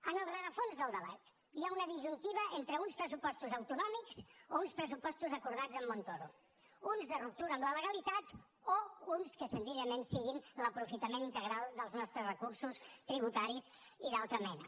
en el rerefons del debat hi ha una disjuntiva entre uns pressupostos autonòmics o uns pressupostos acordats amb montoro uns de ruptura amb la legalitat o uns que senzillament siguin l’aprofitament integral dels nostres recursos tributaris i d’altra mena